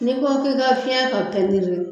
Ni ko k'i ka fiɲɛ ka pɛntiri